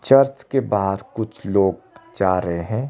Church के बाहर कुछ लोग जा रहे है।